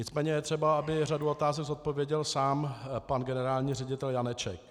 Nicméně je třeba, aby řadu otázek zodpověděl sám pan generální ředitel Janeček.